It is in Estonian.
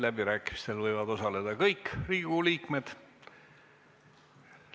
Läbirääkimistel võivad osaleda kõik Riigikogu liikmed.